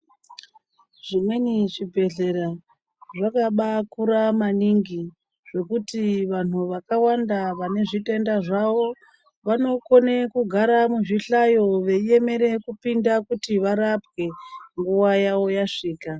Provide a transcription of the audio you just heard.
Zvimweni zvibhedhlera zvakabakura maningi zvekuti vanhu vakawanda vane zvitenda zvawo, vanokone kugara muzvihlayo veiemere kupinda kuti varapwe nguwa yawo yasvika.